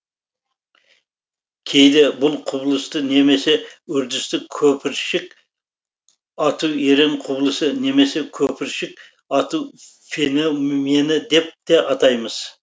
кейде бұл құбылысты немесе үрдісті көпіршік ату ерен құбылысы немесе көпіршік ату феномені деп те атаймыз